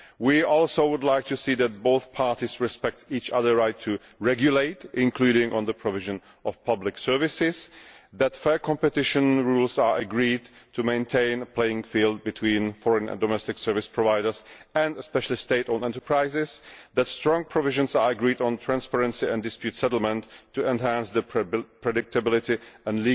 We would also like to see that both parties respect each other's right to regulate, including on the provision of public services, that fair competition rules are agreed to maintain a level playing field between foreign and domestic service providers and especially state owned enterprises, that strong provisions are agreed on transparency and dispute settlement to enhance legal predictability and